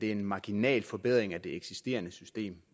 er en marginal forbedring af det eksisterende system